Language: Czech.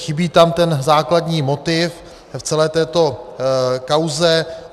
Chybí tam ten základní motiv v celé této kauze.